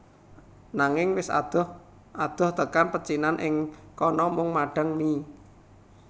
Nanging wis adoh adoh tekan pecinan ing kana mung madhang mie